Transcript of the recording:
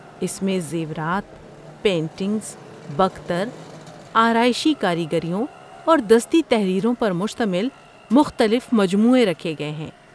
اس میں زیورات، پینٹنگز، بکتر، آرائشی کاریگریوں اور دستی تحریروں پر مشتمل مختلف مجموعے رکھے گئے ہیں۔